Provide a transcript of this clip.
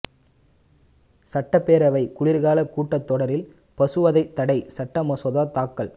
சட்டப்பேரவை குளிா்காலக் கூட்டத் தொடரில் பசுவதை தடைச் சட்ட மசோதா தாக்கல்